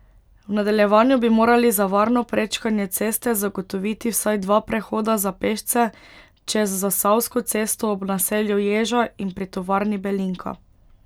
V nadaljevanju bi morali za varno prečkanje ceste zagotoviti vsaj dva prehoda za pešce čez Zasavsko cesto ob naselju Ježa in pri tovarni Belinka.